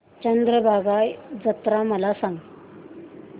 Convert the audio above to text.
चंद्रभागा जत्रा मला सांग